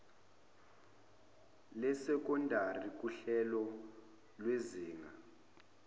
lesekondari nguhlelo lwezinga